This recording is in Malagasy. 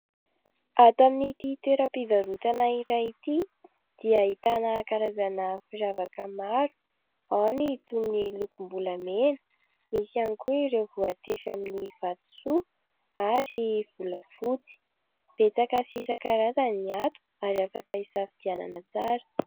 Ato amin'n'ity toera-pivarotana iray ity dia ahitana karazana firavaka maro. Ao ny toy ny lokom-bolamena, misy ihany koa ireo voatefy amin'ny vatosoa ary volafotsy betsaka sy isan-karazany ny ato ary afaka isafidianana tsara.